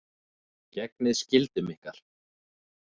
Gegnið skyldum ykkar!